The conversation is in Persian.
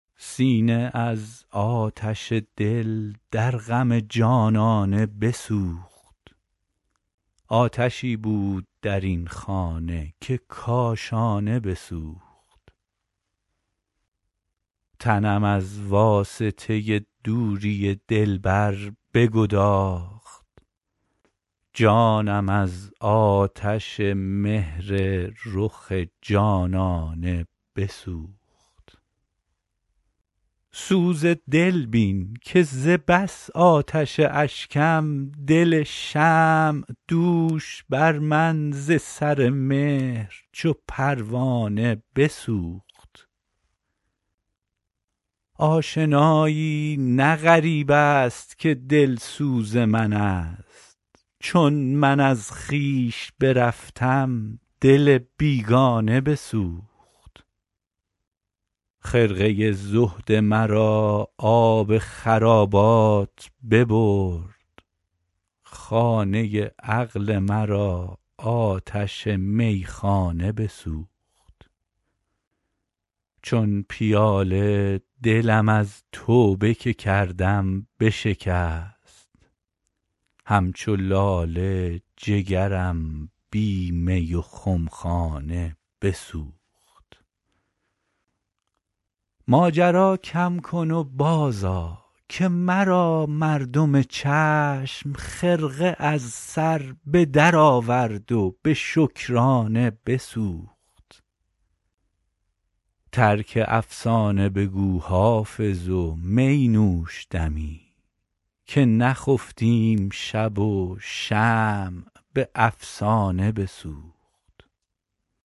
سینه از آتش دل در غم جانانه بسوخت آتشی بود در این خانه که کاشانه بسوخت تنم از واسطه دوری دلبر بگداخت جانم از آتش مهر رخ جانانه بسوخت سوز دل بین که ز بس آتش اشکم دل شمع دوش بر من ز سر مهر چو پروانه بسوخت آشنایی نه غریب است که دلسوز من است چون من از خویش برفتم دل بیگانه بسوخت خرقه زهد مرا آب خرابات ببرد خانه عقل مرا آتش میخانه بسوخت چون پیاله دلم از توبه که کردم بشکست همچو لاله جگرم بی می و خمخانه بسوخت ماجرا کم کن و بازآ که مرا مردم چشم خرقه از سر به درآورد و به شکرانه بسوخت ترک افسانه بگو حافظ و می نوش دمی که نخفتیم شب و شمع به افسانه بسوخت